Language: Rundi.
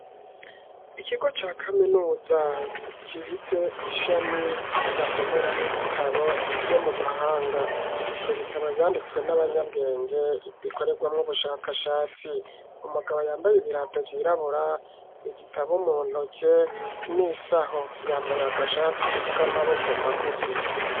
Ikigo ca kaminuza gifise ishami basomera mwo ibitabo vyo mu mahanga nibitabo vyanditswe n'abanyabwenge bikoregwamwo ubushakashatsi umugabo yambaye ibirato vyirabura igitabo muntoke n'isaho yambaye agashati k'amaboko magufi.